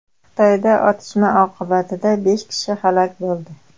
Xitoyda otishma oqibatida besh kishi halok bo‘ldi.